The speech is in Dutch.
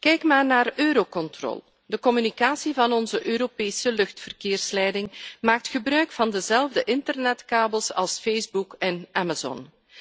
Kijk maar naar Eurocontrol de communicatie van onze Europese luchtverkeersleiding maakt gebruik van dezelfde internetkabels als Facebook en Amazon.